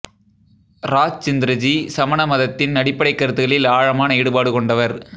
ராஜ்ச்ந்திரஜி சமண மதத்தின் அடிப்படைக் கருத்துக்களில் ஆழமான ஈடுபாடு கொண்டவர்